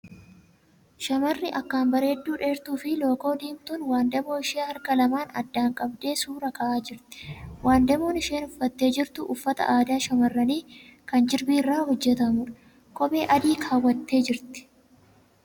Shamarri akkaan bareedduu dheertuu fi lookoo diimtuun wandaboo ishee harka lamaan addaan qabdee suura ka'aa jirti. Wandaboon isheen uffattee jirtu uffata aadaa shamarranii kan jirbii irraa hojjatamuudha. Kophee adii keewwattee jirti.